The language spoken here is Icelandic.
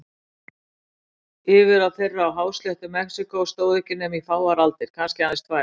Yfirráð þeirra á hásléttu Mexíkó stóðu ekki nema í fáar aldir, kannski aðeins tvær.